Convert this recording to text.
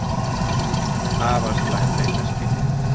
Afar slæm leitarskilyrði